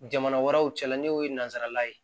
Jamana wɛrɛw cɛla n'o ye nanzara ye